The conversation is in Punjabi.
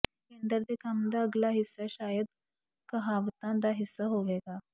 ਕੇਂਦਰ ਦੇ ਕੰਮ ਦਾ ਅਗਲਾ ਹਿੱਸਾ ਸ਼ਾਇਦ ਕਹਾਵਤਾਂ ਦਾ ਹਿੱਸਾ ਹੋਵੇਗਾ